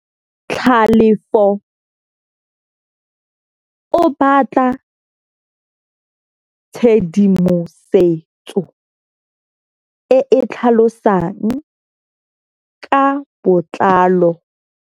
Tlhalefô o batla tshedimosetsô e e tlhalosang ka botlalô.